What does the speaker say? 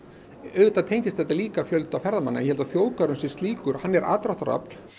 auðvitað tengist þetta líka fjölda ferðamanna ég held að þjóðgarðurinn sem slíkur hann er aðdráttarafl